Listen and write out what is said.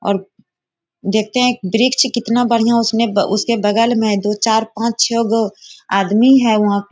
और देखते हैं एक वृक्ष कितना बढ़िया उसमें उसके बगल मे दो चार पाँच छे गो आदमी है वहाँ पे।